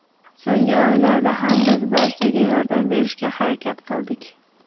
So‘nggi oylarda ham biz barchaga yordam berishga harakat qildik.